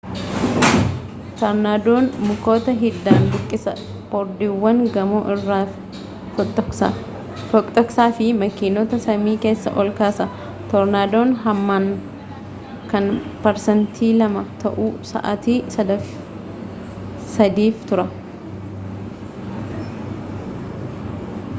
tornadoon mukoota hiddaan buqisa bordiiwwan gamoo irra foxoqsa fi makiinota samii keessa ol kaasa tornadoon hamman kan parsantii lamaa ta'uu sa'aatii sadiif tura